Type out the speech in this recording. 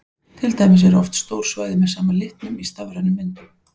Til dæmis eru oft stór svæði með sama litnum í stafrænum myndum.